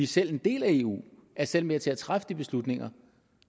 selv en del af eu og er selv med til at træffe de beslutninger